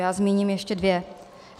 Já zmíním ještě dvě.